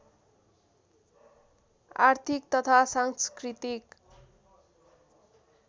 आर्थिक तथा सांस्कृतिक